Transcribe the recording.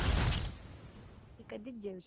मी कधीच जेवले.